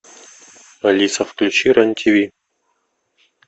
алиса включи рен тв